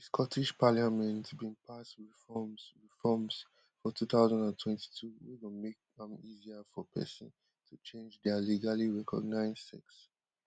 di scottish parliament bin pass reforms reforms for two thousand and twenty-two wey go make am easier for pesin to change dia legally recognised sex